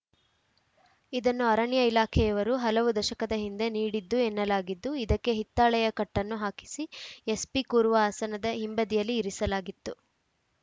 ಇದನ್ನು ಅರಣ್ಯ ಇಲಾಖೆಯವರು ಹಲವು ದಶಕದ ಹಿಂದೆ ನೀಡಿದ್ದು ಎನ್ನಲಾಗಿದ್ದು ಇದಕ್ಕೆ ಹಿತ್ತಾಳೆಯ ಕಟ್ಟನ್ನು ಹಾಕಿಸಿ ಎಸ್‌ಪಿ ಕೂರುವ ಆಸನದ ಹಿಂಬದಿಯಲ್ಲಿ ಇರಿಸಲಾಗಿತ್ತು